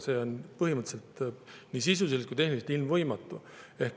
See on põhimõtteliselt nii sisuliselt kui ka tehniliselt ilmvõimatu.